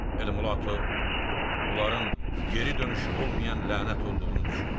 Elmulato bunların geri dönüşü olmayan lənət olduğunu düşünmüşdü.